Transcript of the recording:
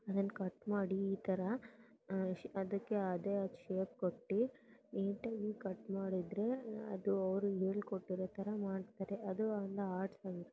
ಇದನ್ನ ಕಟ್ ಮಾಡಿ ಇತರ ಆಶ್ ಅದಕ್ಕೆ ಅದೆ ಆದ ಷೇಪ್ ಕೊಟ್ಟಿ ನೀಟಾಗಿ ಕಟ್ ಮಾಡಿದ್ರೆ ಅದು ಅವರು ಹೇಳಕೊಟ್ಟಿರೊ ತರ ಮಾಡ್ತಾರೆ ಅದು ಒಂದು ಆರ್ಟ್ಸ್ಆಗಿದೆ .